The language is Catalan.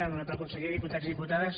honorable conseller diputats i diputades